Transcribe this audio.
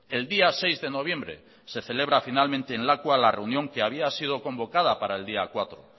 el día seis de noviembre se celebra finalmente en lakua la reunión que había sido convocada para el día cuatro